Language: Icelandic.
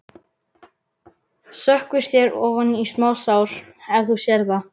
Sökkvir þér ofan í smásár ef þú sérð það.